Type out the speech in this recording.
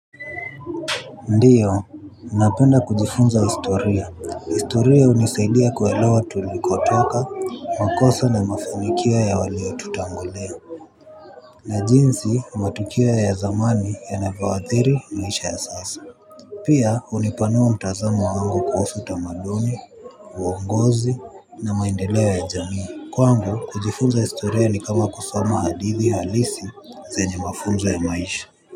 Ndiyo, napenda kujifunza historia. Historia hunisaidia kuelewa tulikotoka, makosa na mafanikio ya waliotutangulia. Na jinsi matukio ya zamani yanavyoadhiri maisha ya sasa. Pia hunipanua mtazamo wangu kuhusu utamaduni, uongozi na maendeleo ya jamii. Kwangu, kujifunza historia ni kama kusoma hadithi halisi zenye mafunzo ya maisha.